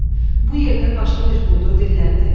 Bu yerdə başqa bir quldur dilləndi.